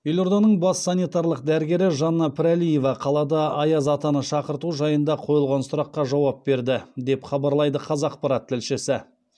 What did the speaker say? елорданың бас санитарлық дәрігері жанна пірәлиева қалада аяз атаны шақырту жайында қойылған сұраққа жауап берді деп хабарлайды қазақпарат тілшісі